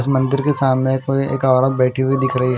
इस मंदिर के सामने कोई एक औरत बेठी हुई दिख रही ए ।